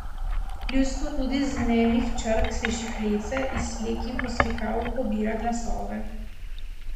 Ljudstvo tudi iz nemih črk sliši klice, iz slik in poslikav pobira glasove.